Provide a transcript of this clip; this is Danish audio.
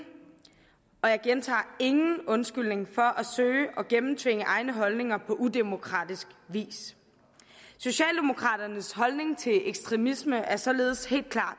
og jeg gentager ingen undskyldning for at søge at gennemtvinge egne holdninger på udemokratisk vis socialdemokraternes holdning til ekstremisme er således helt klar